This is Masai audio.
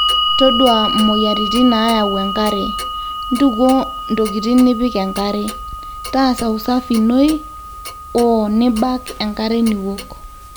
todua moyiaritin naayau enkare, ntukuo ntokitin nipik enkare, taasa usafi inoi oo nibak enkare niwok